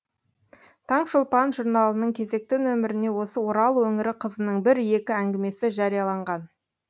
таң шолпан журналының кезекті нөміріне осы орал өңірі қызының бір екі әңгімесі жарияланған